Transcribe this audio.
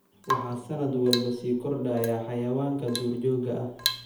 Waxaa sannad walba sii kordhaya xayawaanka duurjoogta ah.